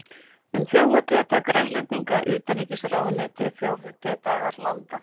Um þjóðhátíðardag Grænlendinga Utanríkisráðuneytið þjóðhátíðardagar landa